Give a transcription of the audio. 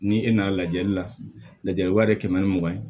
Ni e nana lajɛli la lajɛli wa ye kɛmɛ ni mugan ye